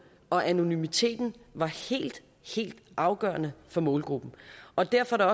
og anonymiteten var helt helt afgørende for målgruppen og derfor er